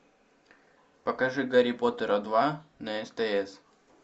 покажи гарри поттера два на стс